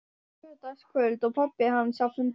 Laugardagskvöld og pabbi hans á fundi.